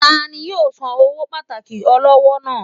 Tani yóò sán ọwọ pàtàkó olọwọ naa.?